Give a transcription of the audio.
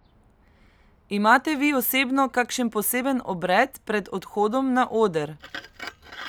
Imate vi osebno kakšen poseben obred pred odhodom na oder?